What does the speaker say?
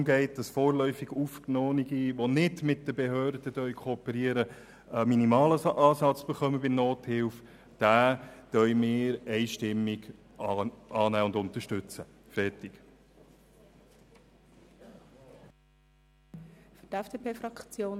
In diesem geht es darum, dass vorläufig Aufgenommene, welche nicht mit den Behörden kooperieren, bei der Nothilfe einen minimalen Ansatz erhalten.